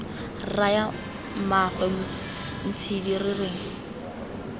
raya mmaagwe ntshidi re reng